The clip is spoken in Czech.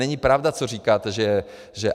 Není pravda, co říkáte, že...